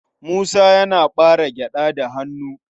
Musa yana ɓare gyaɗa da hannu.